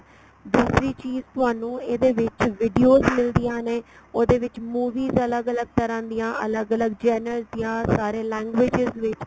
ਦੂਸਰੀ ਚੀਜ ਤੁਹਾਨੂੰ ਇਹਦੇ ਵਿੱਚ videos ਮਿਲਦੀਆਂ ਨੇ ਉਹਦੇ ਵਿੱਚ movies ਅਲੱਗ ਅਲੱਗ ਤਰ੍ਹਾਂ ਦੀਆ ਅਲੱਗ ਅਲੱਗ genres ਦੀਆਂ ਸਾਰੇ languages ਵਿੱਚ